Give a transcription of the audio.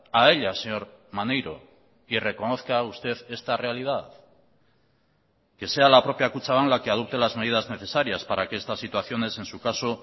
a ella señor maneiro y reconozca usted esta realidad que sea la propia kutxabank la que adopte las medidas necesarias para que estas situaciones en su caso